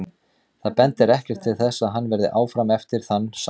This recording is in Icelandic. Það bendir ekkert til þess að hann verði áfram eftir þann samning.